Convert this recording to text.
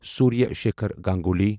Surya Shekhar Ganguly